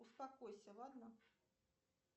успокойся ладно